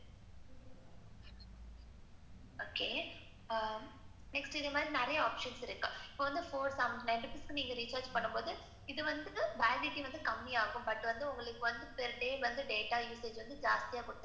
okay next இந்த மாதிரி நிறைய options இருக்கு. four seventy nine நீங்க recharge பண்ணும் போது, இது வந்து validity கம்மி ஆகும். but இதுல வந்து data usage ஜாஸ்தியா குடுத்திருப்பாங்க.